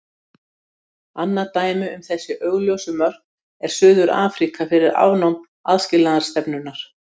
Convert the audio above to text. Annað dæmi um þessi óljósu mörk er Suður-Afríka fyrir afnám aðskilnaðarstefnunnar.